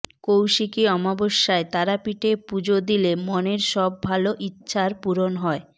কৌশিকী অমাবস্যায় তারাপীঠে পুজো দিলে মনের সব ভাল ইচ্ছার পূরণ হয়